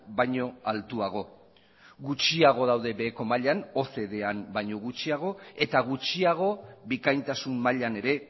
baino altuago gutxiago daude beheko mailan ocdan baino gutxiago eta gutxiago bikaintasun mailan ere